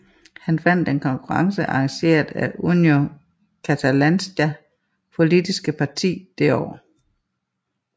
Han vandt en konkurrence arrangeret af Unió Catalanista politiske parti det år